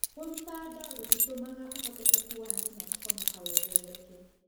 Kũruta nda gũtĩtũmaga ũhotekeku wa nyina kũhonoka wongerereke.